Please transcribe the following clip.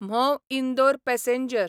Mhow Indore passenger